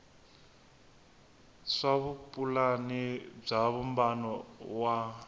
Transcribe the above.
swa vupulani bya vumbano wa